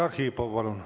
Vladimir Arhipov, palun!